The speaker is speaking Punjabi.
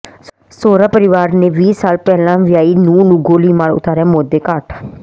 ਸਹੁਰਾ ਪਰਿਵਾਰ ਨੇ ਵੀਹ ਸਾਲ ਪਹਿਲਾਂ ਵਿਆਹੀ ਨੂੰਹ ਨੂੰ ਗੋਲੀ ਮਾਰ ਉਤਾਰਿਆ ਮੌਤ ਦੇ ਘਾਟ